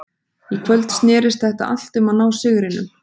Í kvöld snerist þetta allt um að ná sigrinum.